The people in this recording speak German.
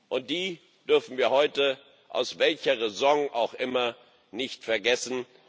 Und die dürfen wir heute aus welcher Raison auch immer nicht vergessen.